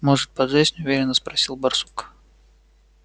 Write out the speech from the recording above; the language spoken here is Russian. может поджечь неуверенно спросил барсук